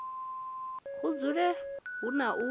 hu dzule hu na u